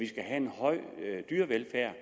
skal have en høj dyrevelfærd